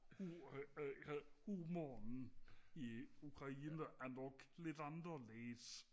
humoren i Ukraine er nok lidt anderledes